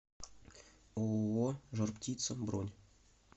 ооо жар птица бронь